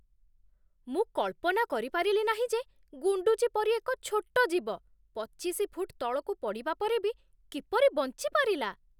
ମୁଁ କଳ୍ପନା କରିପାରିଲି ନାହିଁ ଯେ ଗୁଣ୍ଡୁଚି ପରି ଏକ ଛୋଟ ଜୀବ ପଚିଶି ଫୁଟ୍ ତଳକୁ ପଡ଼ିବା ପରେ ବି କିପରି ବଞ୍ଚିପାରିଲା!